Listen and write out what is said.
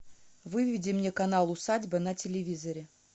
выведи мне канал усадьба на телевизоре